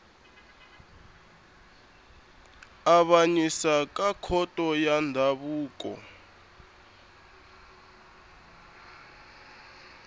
avanyisa ka khoto ya ndzhavuko